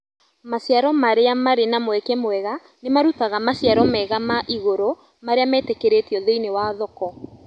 Maciaro marĩa marĩ na mweke mwega nĩmarutaga maciaro mega ma igũrũ marĩa metĩkĩrĩkĩtw thĩinĩ wa thoko